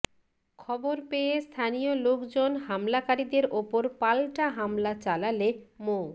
খবর পেয়ে স্থানীয় লোকজন হামলাকারীদের ওপর পাল্টা হামলা চালালে মো